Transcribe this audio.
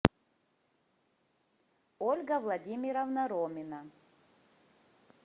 ольга владимировна ромина